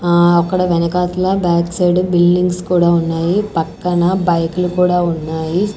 ఆ అక్కడ వెనకాతల బ్యాక్ సైడు బిల్డింగ్స్ కూడా ఉన్నాయి పక్కన బైకులు కూడా ఉన్నాయి.